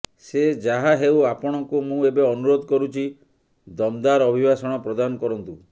ସେ ଯାହାହେଉ ଆପଣଙ୍କୁ ମୁଁ ଏବେ ଅନୁରୋଧ କରୁଛି ଦମ୍ଦାର୍ ଅଭିଭାଷଣ ପ୍ରଦାନ କରନ୍ତୁ